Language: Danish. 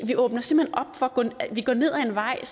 går ned ad en vej